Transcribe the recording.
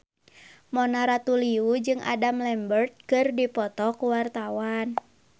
Mona Ratuliu jeung Adam Lambert keur dipoto ku wartawan